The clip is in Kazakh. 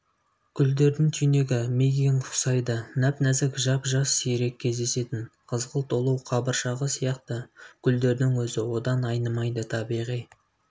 гүлдердің түйнегі мигэнг ұқсайды нәп-нәзік жап-жас сирек кездесетін қызғылт ұлу қабыршағы сияқты гүлдердің өзі одан айнымайды табиғи